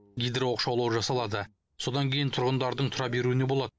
гидрооқшаулау жасалады содан кейін тұрғындардың тұра беруіне болады